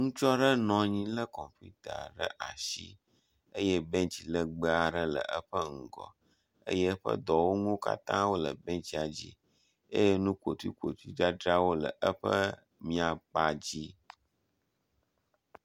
Ŋutsu aɖe nɔ anyi le kɔmputa ɖe asi eyɛ bɛnts legbeaɖe le eƒe ŋgɔ eyɛ eƒe dɔwɔnuwó katãwó le bɛntsa dzi eyɛ nukpotuikpotui dzadzrawo le eƒe miakpadzi